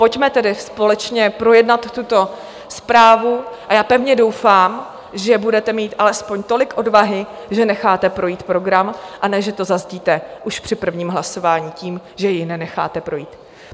Pojďme tedy společně projednat tuto zprávu a já pevně doufám, že budete mít alespoň tolik odvahy, že necháte projít program, a ne že to zazdíte už při prvním hlasování tím, že jej nenecháte projít.